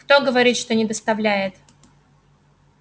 кто говорит что не доставляет